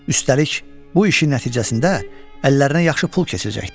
Üstəlik, bu işin nəticəsində əllərinə yaxşı pul keçəcəkdi.